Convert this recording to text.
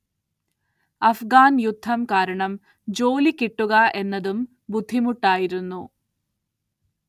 അഫ്ഗാൻ യുദ്ധം കാരണം ജോലി കിട്ടുക എന്നതും ബുദ്ധിമുട്ടായിരുന്നു.